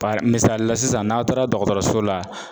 Bari misali la sisan n'aw taara dɔgɔtɔrɔso la